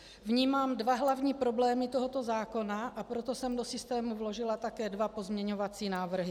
Vnímám dva hlavní problémy tohoto zákona, a proto jsem do systému vložila také dva pozměňovací návrhy.